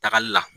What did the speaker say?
Tagali la